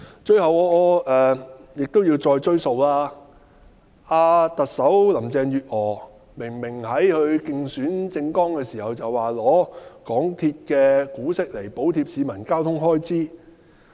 最後，我記得行政長官林鄭月娥明明在她的競選政綱中表示，會拿港鐵公司的股息來補貼市民的交通開支。